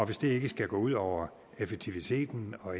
hvis det ikke skal gå ud over effektiviteten og